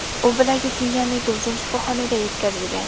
U bilagi singanligi uchun shifoxonaga yetkazilgan.